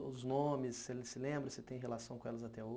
Os nomes, você ainda se lembra, você tem relação com elas até